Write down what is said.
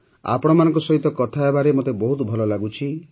ଆପଣମାନଙ୍କ ସହିତ କଥା ହେବାରେ ମୋତେ ବହୁତ ଭଲ ଲାଗୁଛି